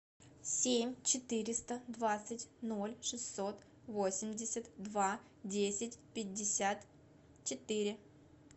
семь четыреста двадцать ноль шестьсот восемьдесят два десять пятьдесят четыре